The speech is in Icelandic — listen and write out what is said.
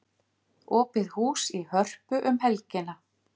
Opið hús í Hörpu um helgina